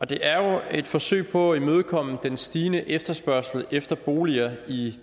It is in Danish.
det er jo et forsøg på at imødekomme den stigende efterspørgsel efter boliger i